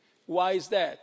Why is that?